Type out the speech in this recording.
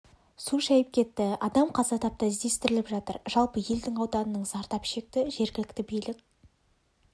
су шайып кетті адам қаза тапты іздестіріліп жатыр жалпы елдің ауданының зардап шекті жергілікті билік